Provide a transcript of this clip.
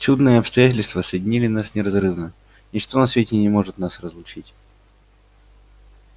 чудные обстоятельства соединили нас неразрывно ничто на свете не может нас разлучить